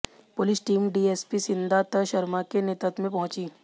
police team DSP Siddhant Sharma के नेतृत्व में पहुंची